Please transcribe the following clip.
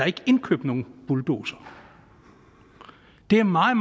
ikke indkøbt nogen bulldozere det er meget